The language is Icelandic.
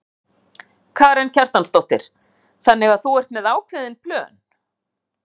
Karen Kjartansdóttir: Þannig að þú ert með ákveðin plön?